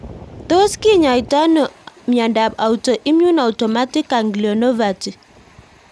Tos kinyaita ano miondop autoimmune autonomic ganglionopathy?